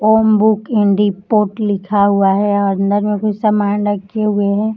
ओम book इंडि पॉट लिखा हुआ है। अंदर कुछ समान रखे हुए हैं।